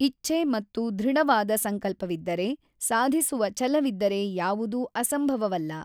ಇಚ್ಛೆ ಮತ್ತು ಧೃಡವಾದ ಸಂಕಲ್ಪವಿದ್ದರೆ, ಸಾಧಿಸುವ ಛಲವಿದ್ದರೆ ಯಾವುದೂ ಅಸಂಭವವಲ್ಲ.